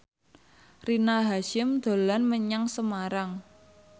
Rina Hasyim dolan menyang Semarang